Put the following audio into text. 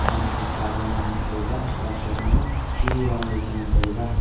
kam chu kawan ei ngan taga chu kah side ma shiri rongley cha ngan taiga.